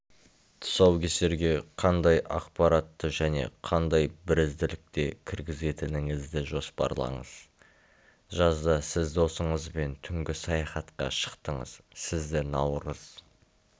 тұсаукесерге қандай ақпаратты және қандай бірізділікте кіргізетініңізді жоспарлаңыз жазда сіз досыңызбен түнгі саяхатқа шықтыңыз сізді наурыз